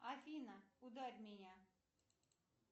афина ударь меня